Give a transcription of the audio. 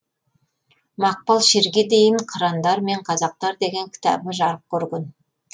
мақпал шерге дейін қырандар мен қазақтар деген кітабы жарық көрген